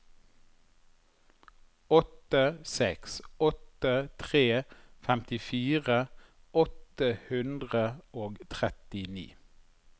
åtte seks åtte tre femtifire åtte hundre og trettini